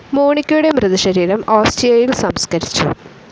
മോണിക്കയുടെ മൃതശരീരം ഓസ്റ്റിയായിൽ സംസ്കരിച്ചു.